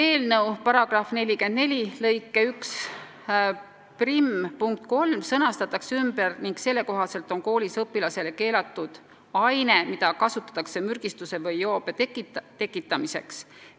Seaduse § 44 lõike 11 punkt 3 sõnastatakse ümber ning selle kohaselt on koolis õpilasele keelatud aine, mida kasutatakse mürgistuse või joobe tekitamiseks.